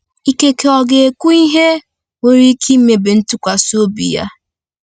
Ikekwe ọ ga-ekwu ihe nwere ike imebi ntụkwasị obi ya.